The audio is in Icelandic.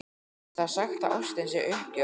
Það er sagt að ástin sé uppgjöf eða göfug fórn.